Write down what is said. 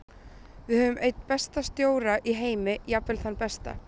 Við höfum einn besta stjóra í heimi og jafnvel þann besta.